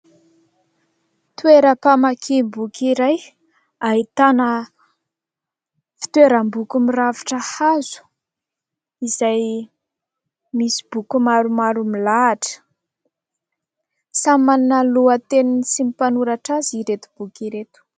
Toeram-pamakiana boky iray ahitana fitoeram-boky mirafitra hazo izay misy boky maromaro milahatra. Samy manana ny lohateniny sy ny mpanoratra azy ireto boky ireto.